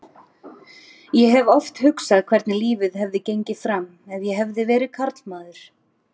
Ég hef oft hugsað hvernig lífið hefði gengið fram ef ég hefði verið karlmaður.